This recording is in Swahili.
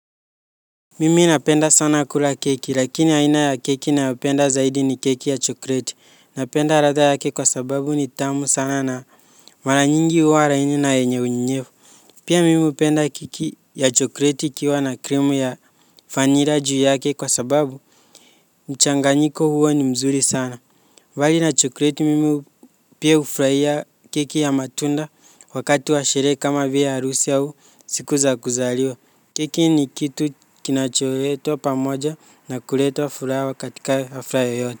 Mimi napenda sana kula keki lakini aina ya keki ninayopenda zaidi ni keki ya chokleti. Napenda ladha yake kwa sababu ni tamu sana na mara nyingi huwa laini na enye unyevu. Pia mimi hupenda keki ya chokleti ikiwa na kremu ya vanilla juu yake kwa sababu mchanganyiko huo ni mzuri sana. Bali na chokleti mimi pia hufurahia keki ya matunda wakati wa sherehe kama hivi arusi au siku za kuzaliwa. Keki ni kitu kinachotuleta pamoja na kuleta furaha katika hafla yeyote.